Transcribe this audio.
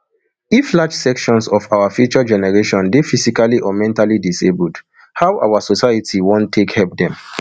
if large sections of our future generation dey physically or mentally disabled how our society wan take help dem